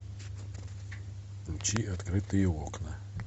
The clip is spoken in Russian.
включи открытые окна